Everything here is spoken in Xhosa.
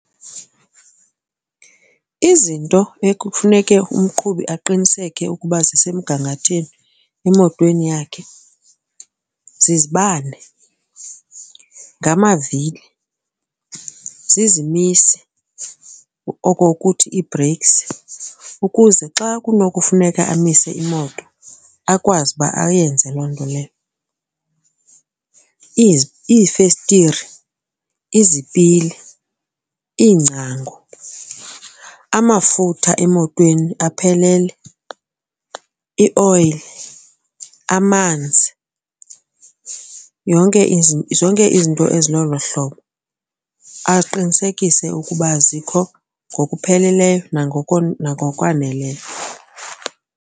Izinto ekufuneke umqhubi aqiniseke ukuba zisemgangathweni emotweni yakhe zizibane, ngamavili, zizimisi okokuthi ii-brakes ukuze xa kunokufuneka amise imoto akwazi uba ayenze loo nto leyo, iifestire, izipili, iingcango, amafutha emotweni aphelele, ioyile, amanzi. Zonke izinto ezilolo hlobo aqinisekise ukuba zikho ngokupheleleyo nangokwaneleyo.